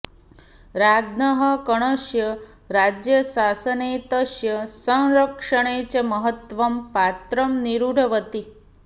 राज्ञः कर्णस्य राज्यशासने तस्य संरक्षणे च महत्वं पात्रं निरूढवती